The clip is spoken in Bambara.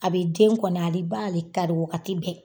A be den kɔni ale b'ale taa di wagati bɛɛ